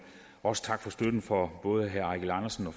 også tak for støtten fra både herre eigil andersen og